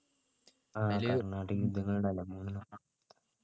ആഹ് കർണാടിക് യുദ്ധങ്ങളുണ്ടല്ലേ മൂന്നേണം